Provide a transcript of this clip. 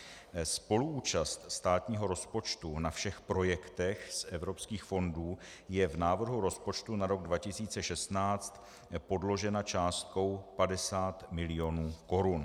Spoluúčast státního rozpočtu na všech projektech z evropských fondů je v návrhu rozpočtu na rok 2016 podložena částkou 50 mil. korun.